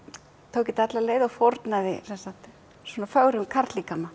tók þetta alla leið og fórnaði svona fögrum